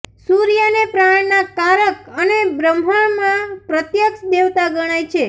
સૂર્યને પ્રાણના કારક અને બ્રહ્માણમાં પ્રત્યક્ષ દેવતા ગણાય છે